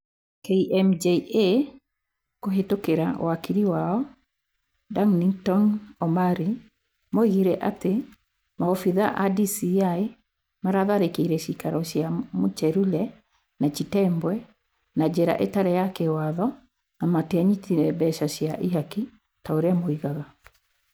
KMJA, kũhitũkira wakili wao Ndanictoni Omari, moigire atĩ maobithaa a DCĩ maatharĩkĩire ciikaro cia Muchelule na Chitembwe na njĩra ĩtarĩ ya kĩwatho na matianyitire mbeca cia ihaki ta ũrĩa moigaga.